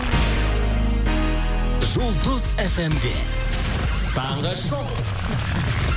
жұлдыз фм де таңғы шоу